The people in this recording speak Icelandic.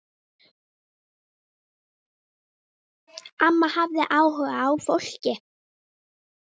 Amma hafði áhuga á fólki.